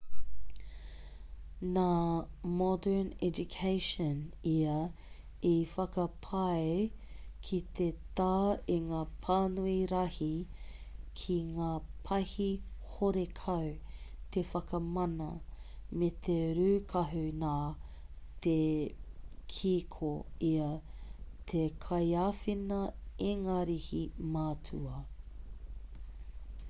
nā modern education ia i whakapae ki te tā i ngā pānui rahi ki ngā pahi horekau te whakamana me te rūkahu nā te kī ko ia te kaiāwhina ingarihi matua